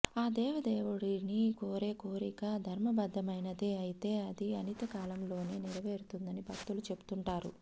ఆ దేవదేవుడిని కోరే కోరిక ధర్మబద్ధమైనదే అయితే అది అనతికాలంలోనే నెరవేరుతుందని భక్తులు చెబుతుంటారు